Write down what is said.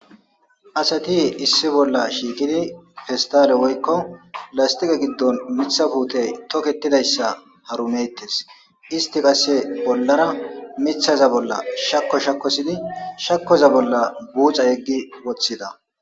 Asati issi bolla shiikidi pestale woykko lastiqe giddon mitha puutey toketidayssa harumettes isti qase bollara mithaza bolla shako shakosidi shakoza bolla buuca yeggi woththida.